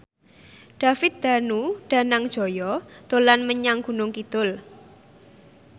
David Danu Danangjaya dolan menyang Gunung Kidul